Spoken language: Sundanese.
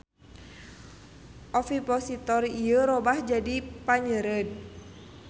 Ovipositor ieu robah jadi panyeureud.